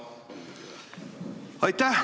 Aitäh!